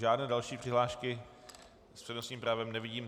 Žádné další přihlášky s přednostním právem nevidím.